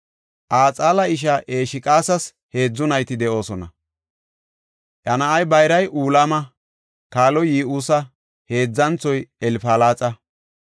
Axeela ishaa Esheqas heedzu nayti de7oosona. Iya na7ay bayray Ulama; kaaloy Yi7uusa; heedzanthoy Elfalaxa.